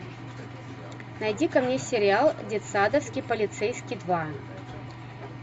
найдика мне сериал детсадовский полицейский два